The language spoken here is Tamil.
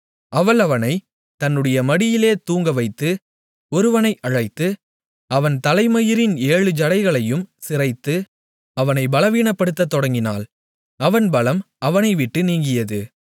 அவள் அவனைத் தன்னுடைய மடியிலே தூங்கவைத்து ஒருவனை அழைத்து அவன் தலைமயிரின் ஏழு ஜடைகளையும் சிரைத்து அவனை பலவீனப்படுத்தத் தொடங்கினாள் அவன் பலம் அவனைவிட்டு நீங்கியது